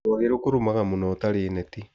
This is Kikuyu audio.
Rwagĩ rũkũrũmaga mũno ũtarĩ neti.